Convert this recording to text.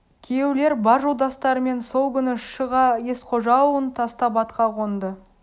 күйеулер бар жолдастарымен сол күні шыға есқожа ауылын тастап атқа қонды